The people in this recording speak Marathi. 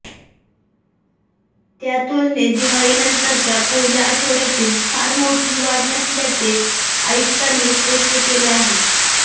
त्या तुलनेत दिवाळीनंतरच्या पहिल्या आठवड्यातील फार मोठी वाढ नसल्याचे आयुक्तांनी स्पष्ट केले आहे